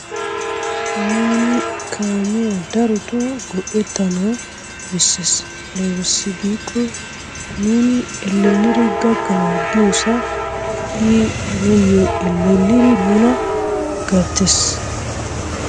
Nuuni kaamiya darotoo go"ettanawu bessees. Aybissi giikko nuuni ellelidi gakkana giyosaa I nuuyo elellidi nuuna gettees.